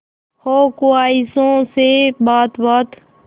हो ख्वाहिशों से बात बात